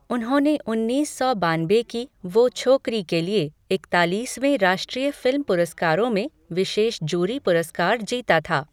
उन्होंने उन्नीस सौ बानबे की वो छोकरी के लिए इकतालीसवें राष्ट्रीय फिल्म पुरस्कारों में विशेष जूरी पुरस्कार जीता था।